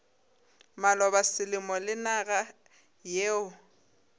maloba selemo le naga yeo